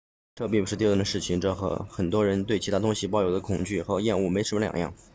这并不是丢人的事情这和很多人对其他东西抱有的恐惧和厌恶没什么两样